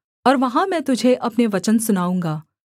और वहाँ मैं तुझे अपने वचन सुनाऊँगा